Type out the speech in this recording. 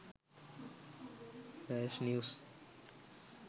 flash news